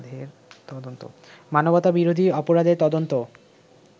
মানবতাবিরোধী অপরাধের তদন্ত